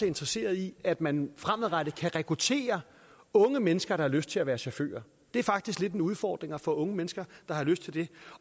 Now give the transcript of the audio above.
interesseret i at man fremadrettet kan rekruttere unge mennesker der har lyst til at være chauffør det er faktisk lidt en udfordring at få unge mennesker der har lyst til det